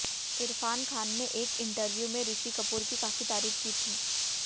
इरफान खान ने एक इंटरव्यू में ऋषि कपूर की काफी तारीफ की थी